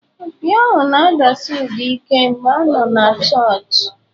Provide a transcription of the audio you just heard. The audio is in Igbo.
Opi ahụ na-adasi ụda ike mgbe a nọ na chọọchị.